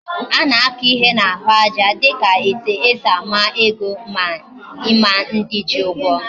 Ana aka ihe na ahu aja dika etu esi ama ego, ma Ima ndi ji Ugwo